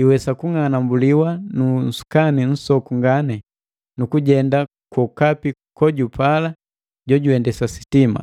iwesa kung'anambuliwa ku nsukani nsoku ngani, nukujenda kwokapi kojupala jojuendesa sitima.